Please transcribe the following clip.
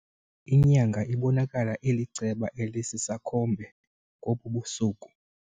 Inyanga ibonakala iliceba elisisakhombe ngobu busuku.